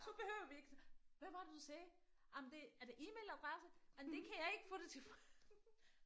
Så behøver vi ikke hvad var det du sagde jamen det er er det email adresse jamen det kan jeg ikke få det til